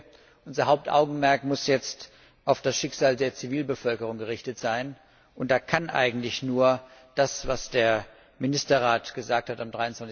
Ich denke, unser Hauptaugenmerk muss jetzt auf das Schicksal der Zivilbevölkerung gerichtet sein, und da kann eigentlich nur das, was der Ministerrat am